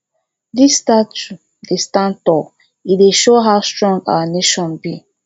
dis statue dey stand tall e dey show how strong our nation be